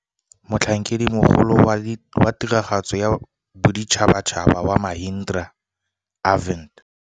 Motlhankedimogolo wa Tiragatso wa Boditšhabatšhaba wa Mahindra Arvind